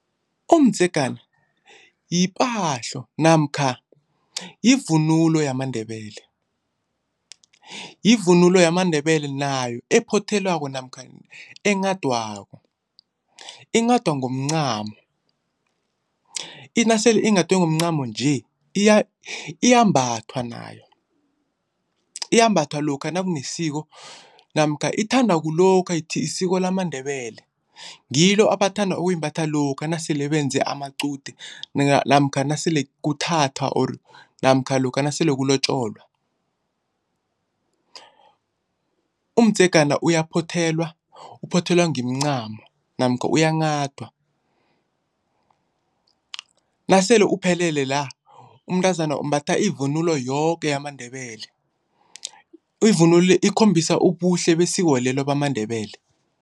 Umdzegana yipahlo namkha yivunulo yamaNdebele. Yivunulo yamaNdebele nayo ephothelwako namkha enghadwako. Inghadwa ngomncamo, nasele inghadwe ngomncamo nje iyambathwa nayo. Iyambathwa lokha nakunesiko namkha ithandwa kulokha lisiko lamaNdebele. Ngilo abathanda ukuyimbatha lokha nasele benze amaqude namkha nasele kuthathwa or namkha lokha nasele kulotjolwa. Umdzegana uyaphothelwa, uphothelwa ngemncano namkha uyanghadwa. Nasele uphelele la umntazana umbatha ivunulo yoke yamaNdebele. Ivunulo le ikhombisa ubuhle besikolo lelo bamaNdebele.